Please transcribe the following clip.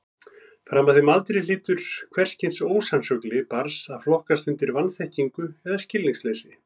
Fram að þeim aldri hlýtur hvers kyns ósannsögli barns að flokkast undir vanþekkingu eða skilningsleysi.